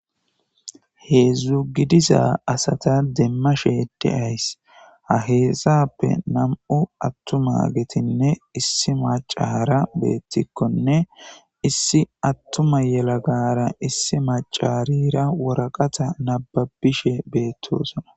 heedzdzu gidiza asata demma sheede ays haheessappe nam7u attuma getinne issi macara beettikkonne issi attuma yelagara issi macarira woraqata nababishe beettosana